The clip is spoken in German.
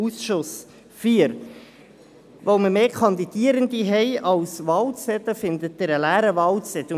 Weil wir mehr Kandidierende als Wahlzettel haben, finden Sie einen leeren Wahlzettel vor;